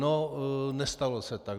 No, nestalo se tak.